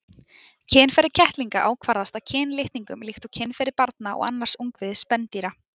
Kynferði kettlinga ákvarðast af kynlitningum líkt og kynferði barna og annars ungviðis spendýra.